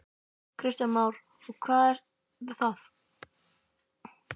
Kristján Már: Og það eru hvað?